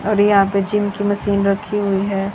और यहां पे जिम की मशीन रखी हुई है।